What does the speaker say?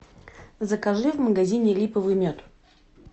закажи в магазине липовый мед